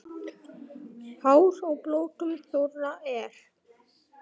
Hár á blótum þorra er.